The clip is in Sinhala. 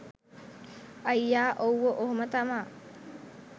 අයියා ඔව්ව ඔහොම තමා.